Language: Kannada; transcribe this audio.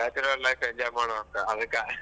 bachelor life enjoy . ಮಾಡಾನ ಅಂತ ಅದಕ.